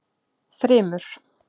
Þrymur